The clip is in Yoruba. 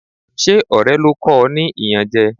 Ṣé ọ̀rẹ́ ló kọ o ní iyanje?